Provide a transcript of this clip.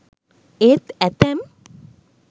ඒත් ඇතැම්